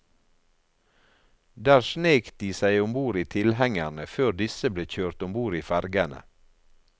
Der snek de seg om bord i tilhengerne før disse ble kjørt om bord i fergene.